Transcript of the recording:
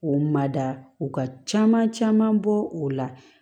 K'o mada u ka caman caman bɔ o la